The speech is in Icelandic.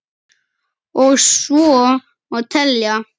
Og svo má telja.